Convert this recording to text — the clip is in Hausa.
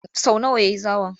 Sau nawa ya yi zawon?